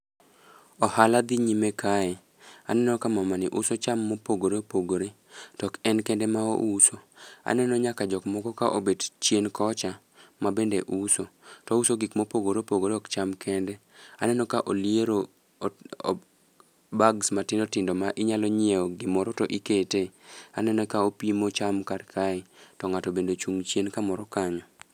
Ohala dhi nyime kae. Anneo ka mamani uso cham ma opogore opogore To ok en kende ma ouso, aneno nyaka jok moko ka obet chien kocha. To ouso gik mopogore opogore ok cham kende, aneno ka oliero bags matindo tindo ma inyalo nyiewo gimoro to ikete. Aneno ka opimo cham kar kae, to ng'ato bende ochung' chien kamoro kanyo.